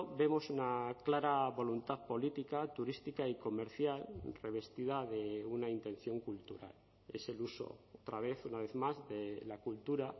vemos una clara voluntad política turística y comercial revestida de una intención cultural es el uso otra vez una vez más de la cultura